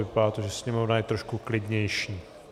Vypadá to, že sněmovna je trošku klidnější.